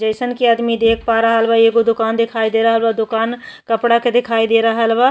जइसन कि आदमी देख पा रहल बा एगो दोकान दिखाई दे रहल बा। दोकान कपड़ा के दिखाई दे रहल बा।